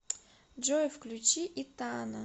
джой включи итана